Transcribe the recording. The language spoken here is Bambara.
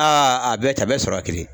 a bɛɛ ten a bɛ sɔrɔ ye kelen ye.